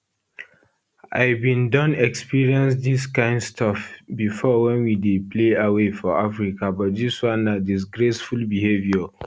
i bin don experience dis kain stuff bifor wen we dey play away for africa but dis one na disgraceful behaviour